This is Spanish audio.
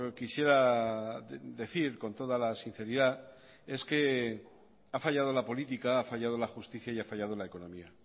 quisiera decir con toda la sinceridad es que ha fallado la política ha fallado la justicia y ha fallado la economía